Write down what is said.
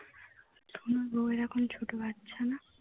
তোমার বৌ এর এখন ছোট বাচ্চা না